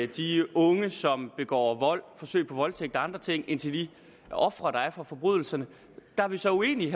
de unge som begår vold forsøg på voldtægt og andre ting end til de ofre der er for forbrydelserne der er vi så uenige